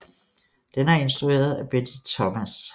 Den er instrueret af Betty Thomas